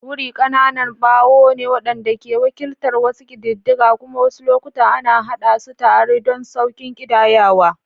Wuri ƙananan bawo ne waɗanda ke wakiltar wasu ƙididdiga kuma wasu lokuta ana haɗa su tare don sauƙin ƙidayawa.